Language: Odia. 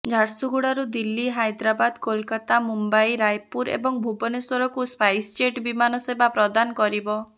ଝାରସୁଗୁଡ଼ାରୁ ଦିଲ୍ଲୀ ହାଇଦ୍ରାବାଦ କୋଲକାତା ମୁମ୍ବାଇ ରାୟପୁର ଏବଂ ଭୁବନେଶ୍ବରକୁ ସ୍ପାଇସ୍ଜେଟ୍ ବିମାନ ସେବା ପ୍ରଦାନ କରିବ